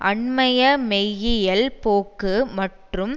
அண்மைய மெய்யியல் போக்கு மற்றும்